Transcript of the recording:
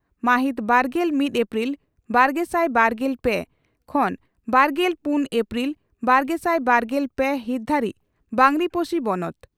ᱢᱟᱦᱤᱛ ᱵᱟᱨᱜᱮᱞ ᱢᱤᱛ ᱮᱯᱨᱤᱞ ᱵᱟᱨᱜᱮᱥᱟᱭ ᱵᱟᱨᱜᱮᱞ ᱯᱮ ᱠᱷᱚᱱᱵᱟᱨᱜᱮᱞ ᱯᱩᱱ ᱮᱯᱨᱤᱞ ᱵᱟᱨᱜᱮᱥᱟᱭ ᱵᱟᱨᱜᱮᱞ ᱯᱮ ᱦᱤᱛ ᱫᱷᱟᱹᱨᱤᱡ ᱵᱟᱸᱜᱽᱨᱤᱯᱳᱥᱤ ᱵᱚᱱᱚᱛ